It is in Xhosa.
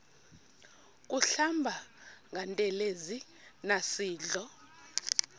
kuhlamba ngantelezi nasidlo